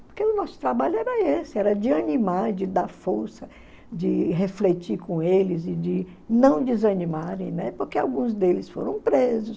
Porque o nosso trabalho era esse, era de animar, de dar força, de refletir com eles e de não desanimarem, né, porque alguns deles foram presos.